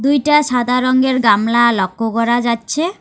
দুইটা সাদা রঙ্গের গামলা লক্ষ্য করা যাচ্ছে।